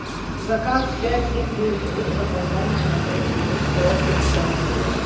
заказ пять семь девять будет опоздание на пять минут пробки в центре